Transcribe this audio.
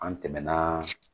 An tɛmɛna